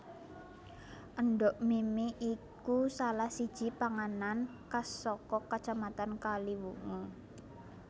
Endhog mimi iku salah siji panganan khas saka Kacamatan Kaliwungu